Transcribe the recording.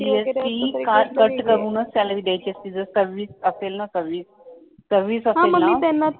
म्हणजे येणारे पैसे जीएसटी कट करूनच सॅलरी द्यायची असते जर सव्वीस असेल ना सव्वीस सव्वीस असेल ना